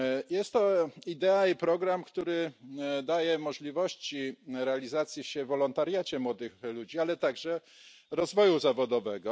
Jest to idea i program, który daje możliwości realizowania się w wolontariacie młodych ludzi, ale także rozwoju zawodowego.